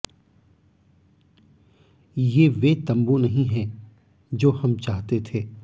ये वे तंबू नहीं हैं जो हम चाहते थे